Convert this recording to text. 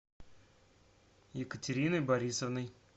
екатериной борисовной